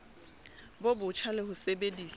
bo botjha le ho sebedisa